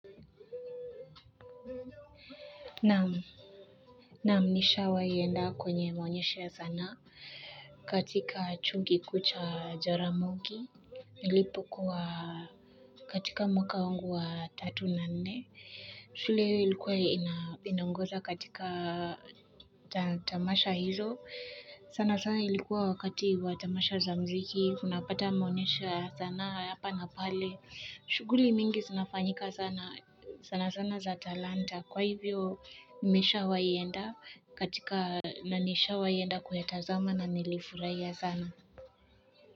Naam, naam, nishawai enda kwenye maonyesha sanaa katika chuo kikuu cha Jaramogi. Nilipokuwa katika mwaka wangu wa tatu na nne. Shule hiyo ilikuwa inaongoza katika tamasha hizo. Sana sana ilikuwa wakati wa tamasha za mziki, unapata maonyesha ya sanaa ya hapa na pale. Shughuli mingi zinafanyika sana sana sana za talanta. Kwa hivyo nimesha waienda katika nanisha waienda kuya tazama na nilifurahi sana.